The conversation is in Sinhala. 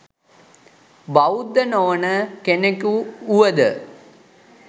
බෞද්ධ නොවන කෙනෙකු වුවද